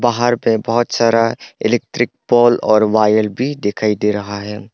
पहाड़ पर बहोत सारा इलेक्ट्रिक पोल और वायर भी दिखाई दे रहा है।